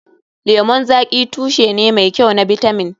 Lemun zaƙi tushe ne mai kyau na bitamin.